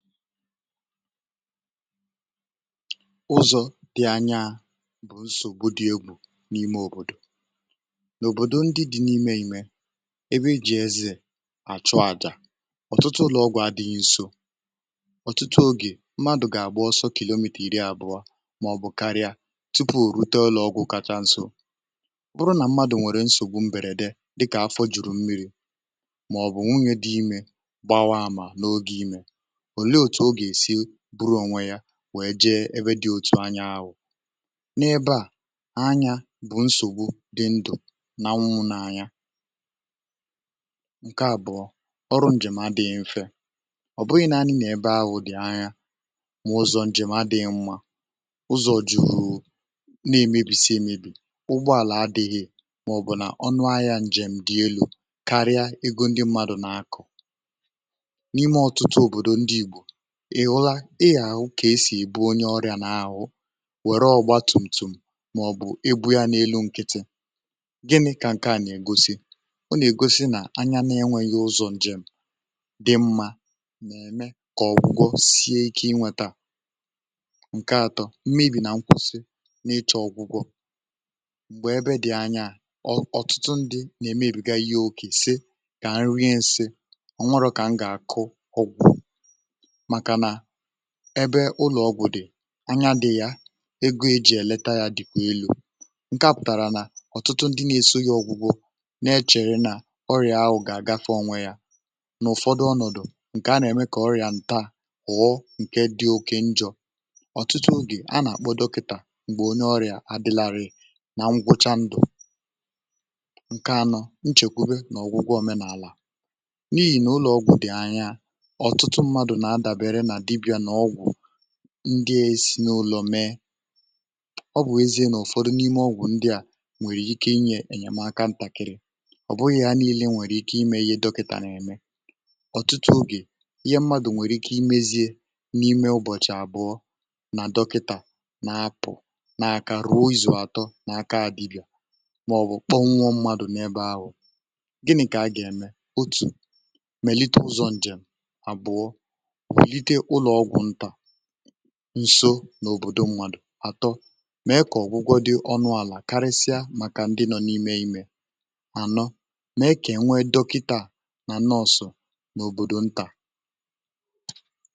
ụzọ̇ dị̀ anya bụ̀ nsògbu dị egwù n’ime òbòdò n’òbòdò ndị dị̇ n’ime ime ebe ijì ezi àchụ àjà ọ̀tụtụ ụlọ̀gwụ̇ adị̇ghị̇ nsò ọ̀tụtụ ogè mmadụ̀ gà-àgbụ ọsọ kilogramiri àbụọ màọ̀bụ̀ karịa tupu rute ọlụ̇ ọgwụ̇ kacha nsò um bụrụ nà mmadụ̀ nwèrè nsògbu mbẹ̀rẹ̀dẹ̀ dịkà afọ jùrù mmiri̇ ndị òtù o gà-èsi bụrụ onwe ya nwèe jee ebe dị̇ otu anya ahụ̀ n’ebe à anya bụ̀ nsògbu dị ndụ̀ nà nwunwụ n’anya ǹkè àbụ̀ọ ọrụ ǹjèm adị̇ghị mfe ọ̀ bụghị̇ nȧanị nà-ebe ahụ̀ dị̀ anya mà ụzọ̇ ǹjèm adịghị mmȧ ụzọ̇ jùrù na-èmebìsì èmebì ụgbọ àlà adịghị màọ̀bụ̀ nà ọnụ ahịȧ ǹjèm dị elu̇ karịa ego ndị mmadụ̀ nà-akụ̀ n’ime ọtụtụ òbòdò ndị ìgbò ìhụla ị gà-àhụ kà e sì èbu onye ọrịà n’ahụ wèrọ ọgba tùmtùm um màọ̀bụ̀ ị bụ̇ ya n’elu nkịtị gịnị kà ǹke à nà-ègosi o nà-ègosi nà anya na-enwėghi ụzọ̇ ǹjèm dị mmȧ nà-ème kà ọ̀gwụgwọ sie ike inwėtȧ ǹke atọ m̀mebì nà nkwụsi um n’ịchọ̇ ọ̀gwụgwọ m̀gbè ebe dị̀ anya ọ̀tụtụ ndị nà-emebì gà ihe okè sị kà nri ǹsị ọ nwere kà m gà-àkụ ọgwụ ebe ụlọ̀ ọgwụ̀ dị anya dị ya ego eji̇ eleta ya dị̇kwa elu̇ ǹke à pụ̀tàrà nà ọ̀tụtụ ndị na-èso yȧ ọ̀gwụgwọ nà-echèrè nà ọrịà ahụ̀ gà-àgafee onwe yȧ n’ụ̀fọdụ ọnọ̀dụ̀ ǹkè a nà-ème kà ọrịà ǹta ghọ̀ọ ǹke dị oke njọ̇ um ọ̀tụtụ gị̀ a nà-àkpọ dọkịtà m̀gbè onye ọrịà adịlari nà ngwụcha ndụ̀ ǹkè anọ̇ nchèkwube nà ọgwụgwọ òmenàlà n’ihì nà ụlọ̀ ọgwụ̀ dị anya anya um ndị esi n’ụlọ̀ mee ọ bụ̀ ezie n’ụ̀fọdụ n’ime ọgwụ̀ ndị à nwèrè ike inye ènyèmaka ǹtàkịrị ọ̀ bụghị̇ ya niilė nwèrè ike imė ihe dọkịtà n’ème ọ̀tụtụ ogè ihe mmadụ̀ nwèrè ike imėziė n’ime ụbọ̀chị̀ àbụọ nà dọkịtà na-apụ̀ na-aka um ruo izù àtọ na-aka àdịbịà màọ̀bụ̀ kpọ̀nwụmmadụ̀ n’ebe ahụ̀ gịnị̇ kà a gà-ème otù melite ụzọ̇ njèm àbụ̀ọ ǹso n’òbòdò nwàdò àtọ mee kà ọ̀gwụgwọ dị̇ ọnụ̇ àlà karịsịa màkà ndị nọ n’ime imė mànọ mee kà enwe dọkịtà nà nne ọ̀sọ n’òbòdò ntà.